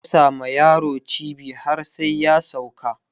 ana gasa ma yaro cibi har sai ya sauka